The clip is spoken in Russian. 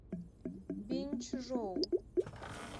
биньчжоу